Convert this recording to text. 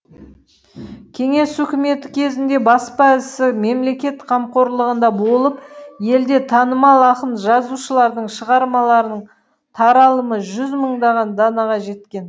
кеңес үкіметі кезінде баспа ісі мемлекет қамқорлығында болып елде танымал ақын жазушылардың шығармаларының таралымы жүз мыңдаған данаға жеткен